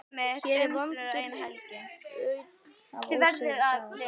Hér er vondur daunn af ósigri, sagði hún þá.